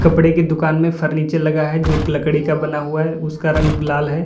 कपड़े की दुकान में फर्नीचर लगा है जो लकड़ी का बना हुआ है उसका रंग लाल है।